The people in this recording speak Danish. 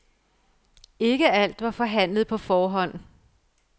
Ikke alt var forhandlet på forhånd.